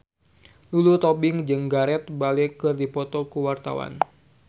Lulu Tobing jeung Gareth Bale keur dipoto ku wartawan